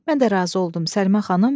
Mən də razı oldum.